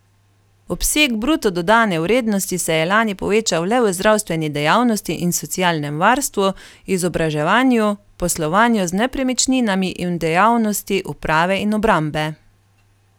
Obseg bruto dodane vrednosti se je lani povečal le v zdravstveni dejavnosti in socialnem varstvu, izobraževanju, poslovanju z nepremičninami in v dejavnosti uprave in obrambe.